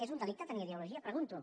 és un delicte tenir ideologia ho pregunto